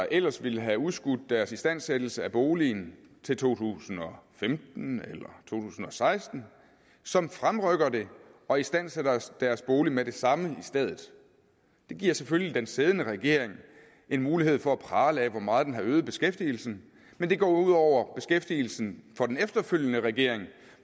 ellers ville have udskudt deres istandsættelse af boligen til to tusind og femten eller tusind og seksten som fremrykker det og istandsætter deres bolig med det samme i stedet det giver selvfølgelig den siddende regering en mulighed for at prale af hvor meget den har øget beskæftigelsen men det går jo ud over beskæftigelsen for den efterfølgende regering